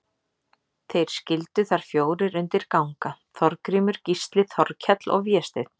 Þeir skyldu þar fjórir undir ganga, Þorgrímur, Gísli, Þorkell og Vésteinn.